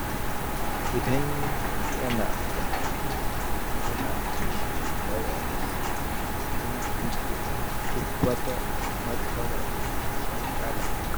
Idan yana karatu, yana kashe wayarsa don guje wa duk wata matsalar shagala.